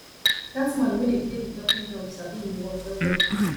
dat man wey dey play di talking drum sabi im work wellwell